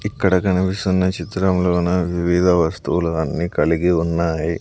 ఇక్కడ కనిపిస్తున్న చిత్రంలోన వివిధ వస్తువులన్నీ కలిగి ఉన్నాయి.